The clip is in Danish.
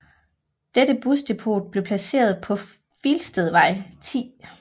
Dette busdepot blev placeret på Filstedvej 10